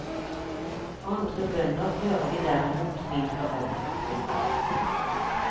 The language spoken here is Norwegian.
Andre bønder hører vi derimot mindre om. punktum